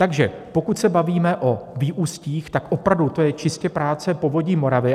Takže pokud se bavíme o výustích, tak opravdu to je čistě práce Povodí Moravy.